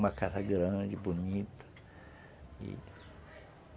Uma casa grande, bonita e